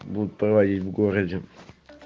будут проводить в городе